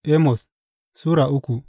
Amos Sura uku